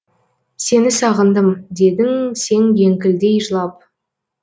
сені сағындым дедің сен еңкілдей жылап